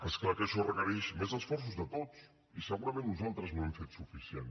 és clar que això requereix més esforços de tots i segurament nosaltres no hem fet suficient